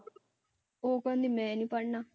ਉਹ ਕਹਿੰਦੀ ਮੈਂ ਨੀ ਪੜ੍ਹਨਾ।